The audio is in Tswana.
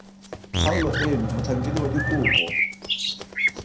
kgaolo eno motlhankedi wa dikopo